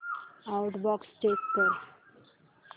outbox check कर